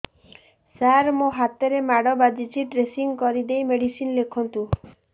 ସାର ମୋ ହାତରେ ମାଡ଼ ବାଜିଛି ଡ୍ରେସିଂ କରିଦେଇ ମେଡିସିନ ଲେଖନ୍ତୁ